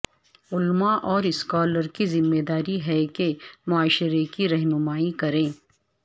علمائاور scholars کی ذمہ داری ہے کہ معاشرے کی رہنمائی کریں